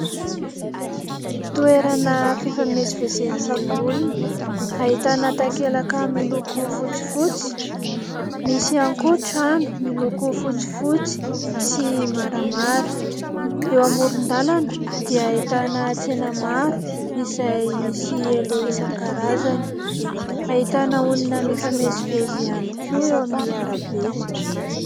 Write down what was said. Toerana fifamezivezen'ny olona ahitana takelaka miloko fotsifotsy. Misy ihany koa trano miloko fotsifotsy sy maramara. Eo amoron-dalana dia ahitana tsena maro izay misy elo isan-karazany. Ahitana olona mifamezivezy ihany koa eo amin'ny arabe.